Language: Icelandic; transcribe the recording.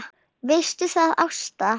Veistu það, Ásta!